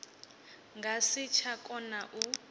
nga si tsha kona u